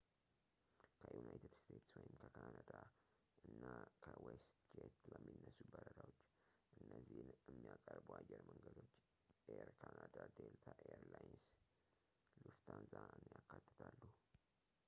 ከዩናይትድ ስቴትስ ወይም ከካናዳ እና ከዌስትጄት ለሚነሱ በረራዎች እነዚህን የሚያቀርቡ አየር መንገዶች ኤይር ካናዳ ዴልታ ኤይር ላይንስ ሉፍታንዛን ያካትታሉ